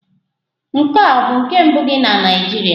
Nke a ọ bụ nke mbụ gị na Naịjirịa?